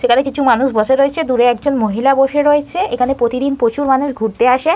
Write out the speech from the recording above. সেখানে কিছু মানুষ বসে রয়েছে। দূরে একজন মহিলা বসে রয়েছে। এখানে প্রতিদিন প্রচুর মানুষ ঘুরতে আসে।